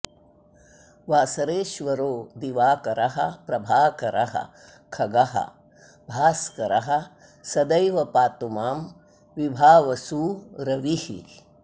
वासरेश्वरो दिवाकरः प्रभाकरः खगो भास्करः सदैव पातु मां विभावसू रविः